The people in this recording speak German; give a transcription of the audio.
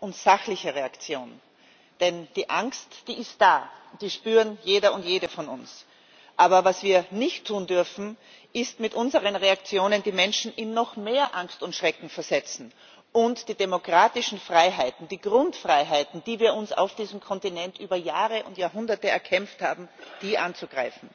Herr Präsident! Herr Kommissar, meine Damen und Herren! Die Anschläge von Paris erfordern eine besonnene und sachliche Reaktion. Denn die Angst ist da, die spürt jeder und jede von uns. Aber was wir nicht tun dürfen, ist, mit unseren Reaktionen die Menschen in noch mehr Angst und Schrecken zu versetzen und die demokratischen Freiheiten, die Grundfreiheiten, die wir uns auf diesem Kontinent über Jahre und Jahrhunderte erkämpft haben, anzugreifen.